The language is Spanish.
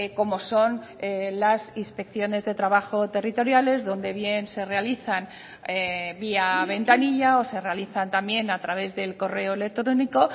como son las inspecciones de trabajo territoriales donde bien se realizan vía ventanilla o se realizan también a través del correo electrónico